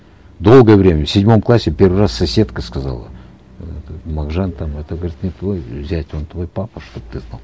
долгое время в седьмом классе в первый раз соседка сказала этот мағжан там это говорит не твой зять он твой папа чтобы ты знал